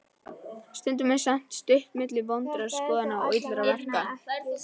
Stundum er samt stutt milli vondra skoðana og illra verka.